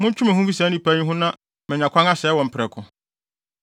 “Montwe mo ho mfi saa nnipa yi ho na manya kwan asɛe wɔn prɛko.”